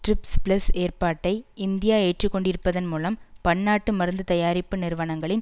TRIPS plus ஏற்பாட்டை India ஏற்றுக்கொண்டிருப்பதன் மூலம் பன்னாட்டு மருந்து தயாரிப்பு நிறுவனங்களின்